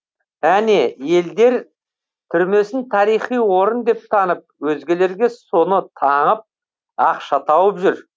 әне елдер түрмесін тарихи орын деп танып өзгелерге соны таңып ақша тауып жүр